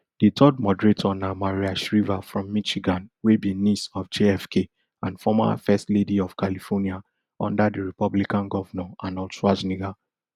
di third moderator na maria shriver from michigan wey be niece of jfk and former first lady of california under di republican govnor arnold schwarzenegger